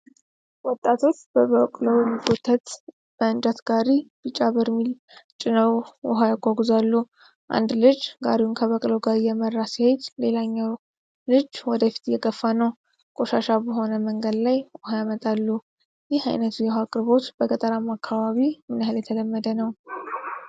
ወጣቶች በበቅሎ በሚጎተት በእንጨት ጋሪ ቢጫ በርሜሎችን ጭነው ውሃ ያጓጉዛሉ። አንድ ልጅ ጋሪውን ከበቅሎው ጋር እየመራ ሲሄድ ሌላው ልጅ ወደፊት እየገፋ ነው። ቆሻሻ በሆነ መንገድ ላይ ውሃ ያመጣሉ። ይህ አይነቱ የውሃ አቅርቦት በገጠራማ አካባቢ ምን ያህል የተለመደ ነው?